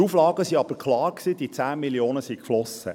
Die Auflagen waren aber klar, die 10 Mio. Franken sind geflossen.